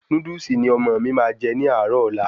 Núdúsì ni ọmọ mi máa jẹ ní àárò ọ́la